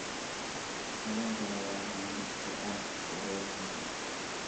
Kalluunka ayaa qani ku ah borotiinka.